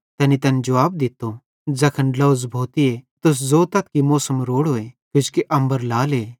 तैनी तैन जुवाब दित्तो ज़ैखन ड्लोझ़ भोतीए त तुस ज़ोतथ कि मौसम रोड़ोए किजोकि अम्बर लाले